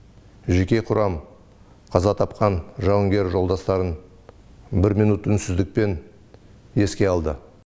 жеке құрам қаза тапқан жауынгер жолдастарын бір минут үнсіздікпен еске алды